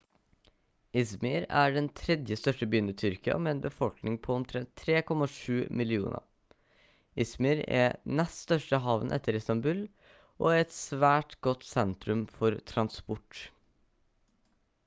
izmir er den 3. største byen i tyrkia med en befolkning på omtrent 3,7 millioner izmir er nest største havnen etter istanbul og er et svært godt sentrum for transport